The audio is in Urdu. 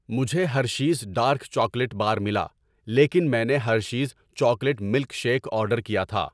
مجھے ہرشیز ڈارک چاکلیٹ بار ملا لیکن میں نے Hershey's chocolate milkshake order کیا تھا۔